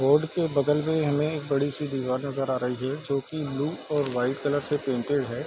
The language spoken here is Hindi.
बोर्ड के बगल में हमें एक बड़ी सी दीवार नजर आ रही है जो कि ब्लू और व्हाइट कलर से पेंटेड है।